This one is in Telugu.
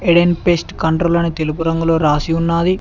ఎడెన్ పేస్ట్ కంట్రోల్ అని తెలుపు రంగులో రాసి ఉన్నాది.